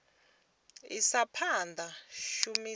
isa phanda u shumiswa ha